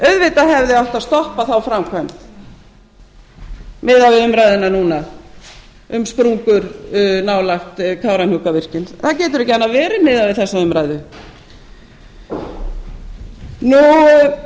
auðvitað hefði átt að stoppa þá framkvæmd miðað við umræðuna núna um sprungur nálægt kárahnjúkavirkjun það getur ekki annað verið miðað við þessa umræðu